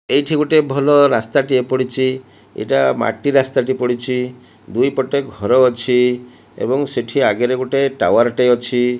ଏଇଠି ଗୋଟିଏ ଭଲ ରାସ୍ତାଟିଏ ପଡ଼ିଛି। ଏଇଟା ମାଟି ରାସ୍ତାଟି ପଡ଼ିଛି। ଦୁଇପଟେ ଘର ଅଛି। ଏବଂ ସେଠି ଆଗେରେ ଗୋଟେ ଟାୱାର୍ ଟେ ଅଛି।